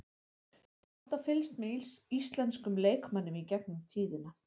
Ég hef alltaf fylgst með íslenskum leikmönnum í gegnum tíðina.